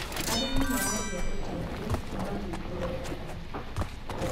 arĩmi maragia uteithio kuuma kwi thirikari